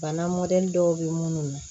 Bana mɔdɛli dɔw bɛ minnu na